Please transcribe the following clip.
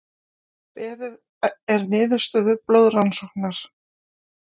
Beðið er niðurstöðu blóðrannsóknar